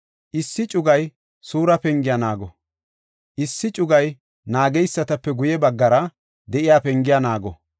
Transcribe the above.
Issi cugay Suura pengiya naago; issi cugaa naageysatape guye baggara de7iya pengiya naago.